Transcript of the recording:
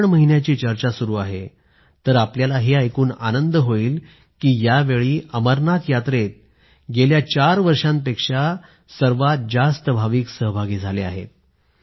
श्रावण महिन्याची चर्चा सुरू आहे तर आपल्याला हे ऐकून आनंद होईल की यावेळी अमरनाथ यात्रेत गेल्या चार वर्षांपेक्षा सर्वात जास्त भाविक सहभागी झाले आहेत